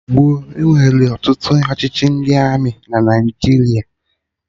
Mgbe gboo, enwere ọtụtụ ọchịchị ndị Armị na Naijiria